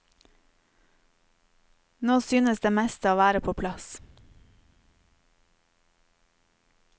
Nå synes det meste å være på plass.